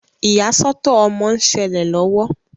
Iyasọtọ ọmọ nṣele lọwọ.